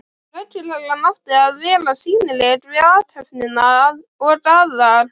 Lögreglan átti að vera sýnileg við athöfnina og Aðal